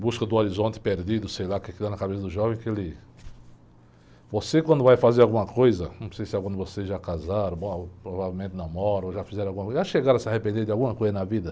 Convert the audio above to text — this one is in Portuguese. Busca do horizonte perdido, sei lá o que que dá na cabeça do jovem, que ele... Você quando vai fazer alguma coisa, não sei se algum de vocês já casaram, bom, provavelmente namoram, ou já fizeram alguma coisa, já chegaram a se arrepender de alguma coisa na vida?